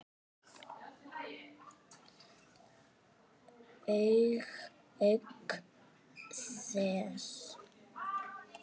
Auk þess.